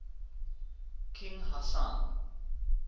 king hassan